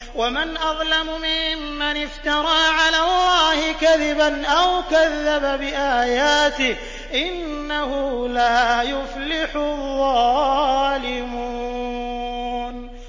وَمَنْ أَظْلَمُ مِمَّنِ افْتَرَىٰ عَلَى اللَّهِ كَذِبًا أَوْ كَذَّبَ بِآيَاتِهِ ۗ إِنَّهُ لَا يُفْلِحُ الظَّالِمُونَ